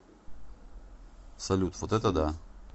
салют вот это да